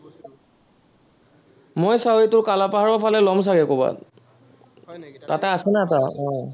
মই চাওঁ এইটো কালাপাহাৰৰ ফালে লম চাগে কৰবাত তাতে আছে না এটা আহ